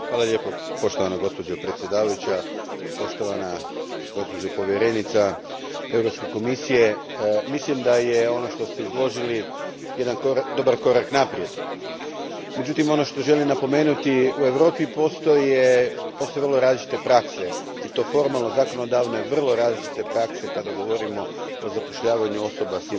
Gospođo predsjednice, poštovana gospođo povjerenice Europske komisije, mislim da je ono što ste izložili dobar korak naprijed. Međutim, ono što želim napomenuti, u Europi postoje vrlo različite prakse i to formalno, zakonodavno vrlo različite prakse kada govorimo o zapošljavanju osoba s invaliditetom.